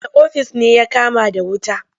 Wane ofis ne ya kama da wuta?